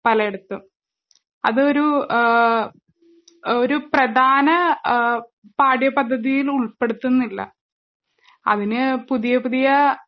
പലയിടത്തും. അതൊരൂ ആഹ് ഒരുപ്രധാന ആഹ് പാഠ്യപദ്ധതീന്നുൾപ്പെടുത്തുന്നില്ല. അതിന് പുതിയപുതിയാ